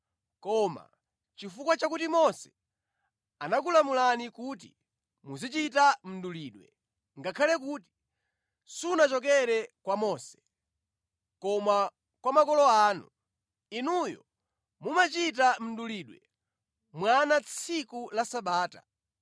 Koma, chifukwa chakuti Mose anakulamulani kuti muzichita mdulidwe (ngakhale kuti sunachokere kwa Mose, koma kwa makolo anu), inuyo mumachita mdulidwe mwana tsiku la Sabata.